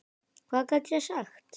Hvað gat ég sagt?